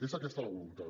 és aquesta la voluntat